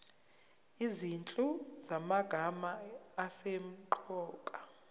izinhlu zamagama asemqoka